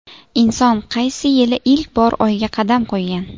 Inson qaysi yili ilk bor Oyga qadam qo‘ygan?